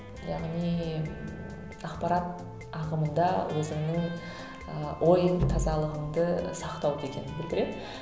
яғни ақпарат ағымында өзіңнің ыыы ой тазалығыңды сақтау дегенді білдіреді